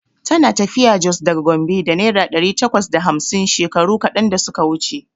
Tana tafiya Jos daga Gombe da naira ɗari takwas da hamsin shekaru kaɗan da suka wuce.